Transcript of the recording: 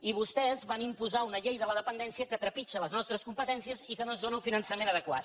i vostès van imposar una llei de la dependència que trepitja les nostres competències i que no ens dóna el finançament adequat